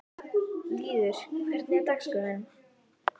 Lýður, hvernig er dagskráin?